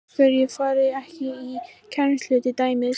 Af hverju ferðu ekki í kennslu til dæmis?